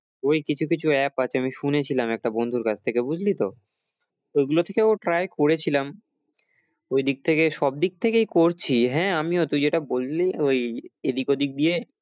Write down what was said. ওই কিছু কিছু app আছে আমি শুনেছিলাম একটা বন্ধুর কাছ থেকে বুঝলি তো ওইগুলো থেকেও try করেছিলাম ওইদিক থেকে সবদিক থেকেই করছি, হ্যাঁ আমিও তুই যেটা বললি ওই এদিক ওদিক দিয়ে